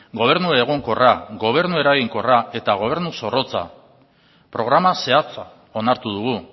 gobernu egonkorra gobernu eraginkorra eta gobernu zorrotza programa zehatza onartu dugu